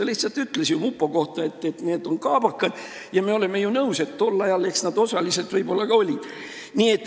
Ta lihtsalt ütles mupo kohta, et need on kaabakad, ja me oleme ju nõus, et tol ajal nad osaliselt võib-olla ka olid.